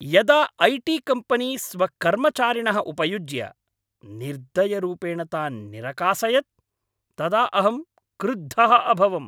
यदा IT. Company स्वकर्मचारिणः उपयुज्य निर्दयरूपेण तान् निरकासयत् तदा अहं क्रुद्धः अभवम्।